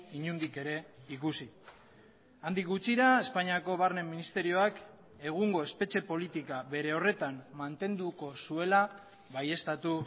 inondik ere ikusi handik gutxira espainiako barne ministerioak egungo espetxe politika bere horretan mantenduko zuela baieztatu